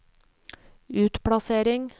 utplassering